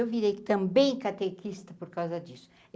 Eu virei também catequista por causa disso.